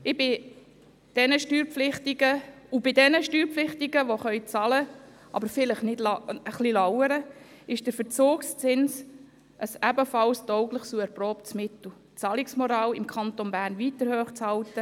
Bei den Steuerpflichtigen, die allenfalls bezahlen könnten, die Bezahlung jedoch etwas hinausschieben, ist der Verzugszins ebenfalls ein taugliches und erprobtes Mittel, um die Zahlungsmoral im Kanton Bern weiterhin hochzuhalten.